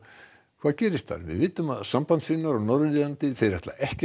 hvað gerist þar við vitum að sambandssinnar á Norður Írlandi ætla ekki